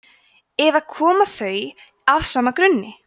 eða koma þau af sama grunni